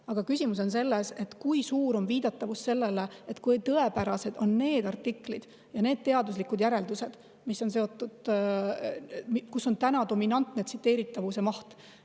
Aga küsimus on selles, kui suur viidatavus on, kui tõepärased on need artiklid ja nende teaduslikud järeldused ja kus on täna tsiteeritavuse.